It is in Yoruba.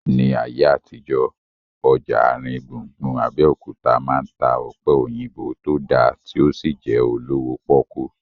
Ní ayé àtijọ́, ọjà àrin gbùngbùn Abẹ́òkúta máa ń ta ọ̀pẹ̀ òyìnbó tó dá tí ó sì jẹ́ olówó pọ́kú